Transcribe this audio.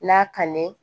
N'a kanu ye